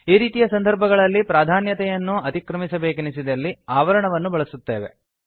ಈ ರೀತಿಯ ಸಂದರ್ಭಗಳಲ್ಲಿ ಪ್ರಾಧಾನ್ಯತೆಯನ್ನು ಅತಿಕ್ರಮಿಸಬೇಕೆನಿಸಿದಲ್ಲಿ ಆವರಣವನ್ನು ಬಳಸುತ್ತೇವೆ